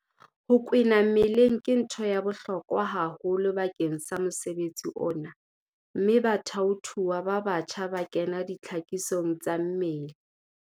Ho kwena mmeleng ke ntho ya bohlokwa haholo bakeng sa mosebetsi ona mme bathaothuwa ba batjha ba kena ditlhakisong tsa mmele.